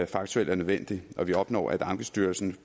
faktuelt er nødvendig og vi opnår at ankestyrelsen